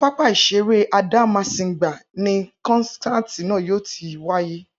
Inú pápá ìṣeré Adámásingbà ni kọ́nsáàti náà yóò ti wáyé